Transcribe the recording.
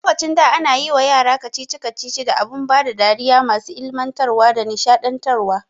A lokacin da ana yiwa yara kacici kacici da abun bada dariya masu ilmantarwa da nishaɗantar wa